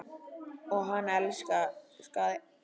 Og hann elskaði hana.